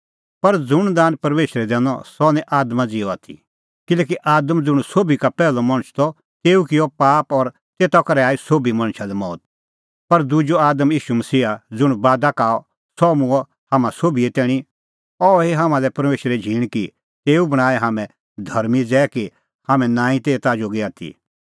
पर ज़ुंण दान परमेशरै दैनअ सह निं आदमा ज़िहअ आथी किल्हैकि आदम ज़ुंण सोभी का पैहलअ मणछ त तेऊ किअ पाप और तेता करै आई सोभी मणछा लै मौत पर दुजअ आदम ईशू मसीहा ज़ुंण बादा का आअ सह मूंअ हाम्हां सोभिए तैणीं अह हुई हाम्हां लै परमेशरे झींण कि तेऊ बणांऐं हाम्हैं धर्मीं ज़ै कि हाम्हैं नांईं तै एता जोगी आथी